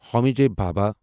Homi J Bhabha